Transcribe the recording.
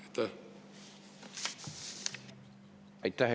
Aitäh!